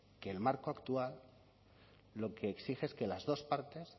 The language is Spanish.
que el marco actual lo que exige es que las dos partes